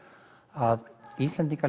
að Íslendingar